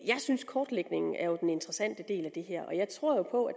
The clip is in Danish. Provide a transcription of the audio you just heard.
synes kortlægningen er den interessante del af det og jeg tror jo på at